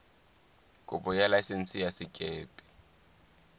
kopo ya laesense ya sekepe